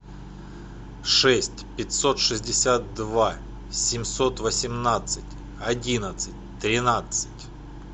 шесть пятьсот шестьдесят два семьсот восемнадцать одиннадцать тринадцать